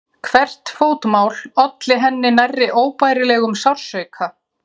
Hvert fótmál olli henni nærri óbærilegum sársauka.